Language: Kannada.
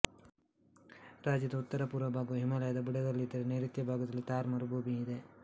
ರಾಜ್ಯದ ಉತ್ತರಪೂರ್ವ ಭಾಗವು ಹಿಮಾಲಯದ ಬುಡದಲ್ಲಿದ್ದರೆ ನೈಋತ್ಯ ಭಾಗದಲ್ಲಿ ಥಾರ್ ಮರುಭೂಮಿಯಿದೆ